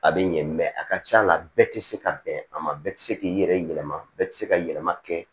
A bɛ ɲɛ a ka c'a la a bɛɛ tɛ se ka bɛn a ma bɛɛ tɛ se k'i yɛrɛ yɛlɛma bɛɛ tɛ se ka yɛlɛma kɛ